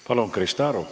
Palun, Krista Aru!